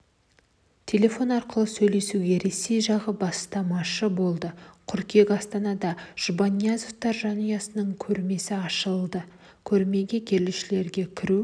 телефон арқылы сөйлесуге ресей жағы бастамашы болды қыркүйек астанада жұбаниязовтар жанұясының көрмесі ашылады көрмеге келушілерге кіру